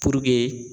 Puruke